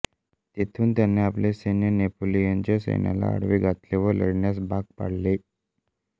तेथून त्याने आपले सैन्य नेपोलियनच्या सैन्याला आडवे घातले व लढण्यास भाग पाडले